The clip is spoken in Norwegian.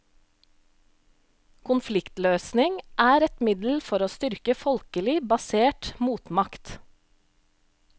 Konfliktløsning er et middel for å styrke folkelig basert motmakt.